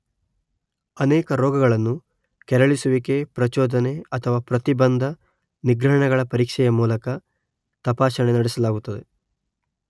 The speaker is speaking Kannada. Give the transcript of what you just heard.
ಅನೇಕ ರೋಗಗಳನ್ನು ಕೆರಳಿಸುವಿಕೆ, ಪ್ರಚೋದನೆ ಅಥವಾ ಪ್ರತಿಬಂಧ, ನಿಗ್ರಹಣಗಳ ಪರೀಕ್ಷೆಯ ಮೂಲಕ ತಪಾಸಣೆ ನಡೆಸಲಾಗುತ್ತದೆ.